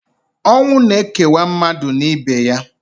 Ọnwụ na-ekewa mmadụ na ibe ya.